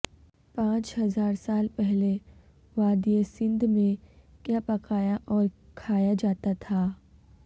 پانچ ہزار سال پہلے وادی سندھ میں کیا پکایا اور کھایا جاتا تھا